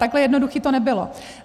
Takhle jednoduché to nebylo.